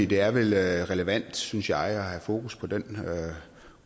det er vel relevant synes jeg at have fokus på